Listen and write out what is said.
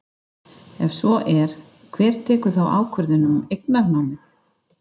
Ef svo er, hver tekur þá ákvörðun um eignarnámið?